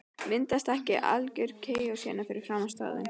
Myndast ekki algjör kaos hérna fyrir framan staðinn?